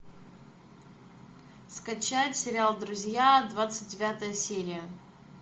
скачать сериал друзья двадцать девятая серия